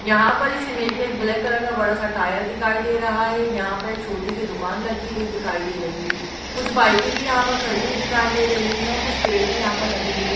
यहाँ पर इस इमेज मे एक ब्लैक कलर का बड़ा सा टायर दिखाई दे रहा है यहाँ पर एक छोटी सी दुकान लगी हुई दिखाई दे रही है कुछ बाइकें भी यहाँ पर खड़ी हुई दिखाई दे रही हैं और कुछ पेड़ भी यहाँ पर लगे हुए दि--।